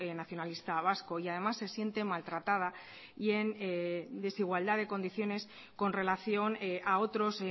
nacionalista vasco y además se siente maltratada y en desigualdad de condiciones con relación a otros